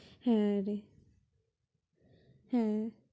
হ্যাঁ রে হ্যাঁ